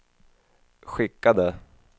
skickade